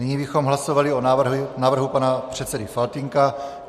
Nyní bychom hlasovali o návrhu pana předsedy Faltýnka.